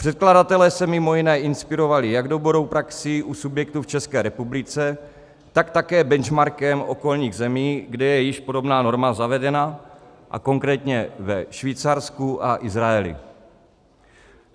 Předkladatelé se mimo jiné inspirovali jak dobrou praxí u subjektů v České republice, tak také benchmarkem okolních zemí, kde je již podobná norma zavedena, a konkrétně ve Švýcarsku a Izraeli.